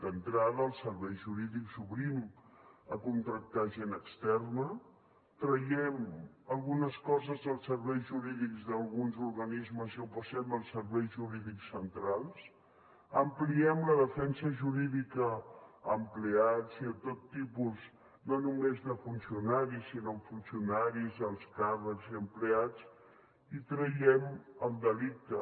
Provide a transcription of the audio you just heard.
d’entrada als serveis jurídics obrim a contractar gent externa traiem algunes coses als serveis jurídics d’alguns organismes i ho passem als serveis jurídics centrals ampliem la defensa jurídica a empleats i a tot tipus no només de funcionaris sinó funcionaris alts càrrecs i empleats i traiem el delicte